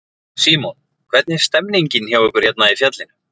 Símon: Hvernig er stemningin hjá ykkur hérna í fjallinu?